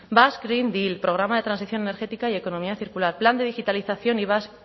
basque green deal programa de transición energética y economía circular plan de digitalización y basque